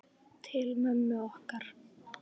Til mömmu okkar.